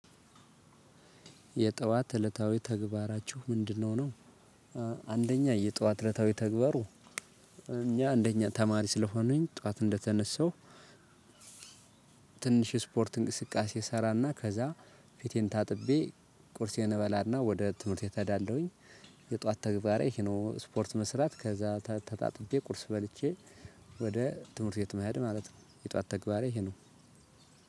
የጠዋት እለታዊ ተግባራችሁ ምንድነው ነው? አንደኛ የጠዋት እለታዊ ተግባሩ እኛ እንደኛ ተማሪ ስለሆኑኝ ጠዋት እንደተነሳሁ። ትንሽ ስፖርት እንቅስቃሴ እሰራና ከዛ ፊቴን ታጥቤ ቁርሴን እበላ እና ወደ ትምህርት ተዳለሁኝ። የጧት ተግባሬ ሄኖ ስፖርት መስራት ከዛ ተጣጥቤ ቁርስ በልቼ ወደ ትምህርት ቤት መሄድ ማለት ነው። የጧት ተግባሬ ይሄ ነው።